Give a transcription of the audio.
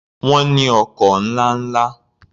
Wọ́n ní ọkọ̀ ńlá ńla.